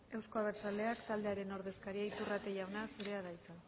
euzko abertzaleak taldearen ordezkaria iturrate jauna zurea da hitza